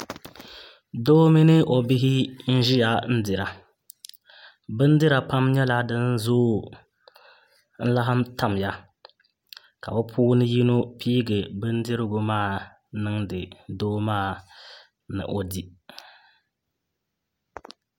Doo mini o bihi n ʒiya n dira bindira pam nyɛla din zooi n laɣam tamya ka bi puuni yino piigi bindirigu maa niŋdi doo maa ni o di